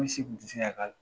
Ku se kun tɛ se ka